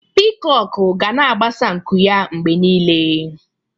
Pịkok ga na-agbasa nku ya mgbe niile.